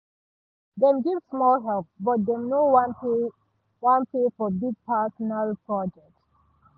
dem give small help but dem no wan pay wan pay for big personal project